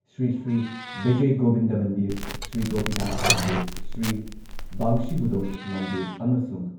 ꯁ꯭ꯔꯤ ꯁ꯭ꯔꯤ ꯕꯤꯖꯏ ꯒꯣꯕꯤꯟꯗ ꯃꯟꯗꯤꯔ, ꯁ꯭ꯔꯤ ꯒꯣꯄꯤꯅꯥꯊ ꯃꯟꯗꯤꯔ, ꯁ꯭ꯔꯤ ꯕꯪꯁꯤꯕꯣꯗꯣꯟ ꯃꯟꯗꯤꯔ ꯑꯃꯁꯨꯡ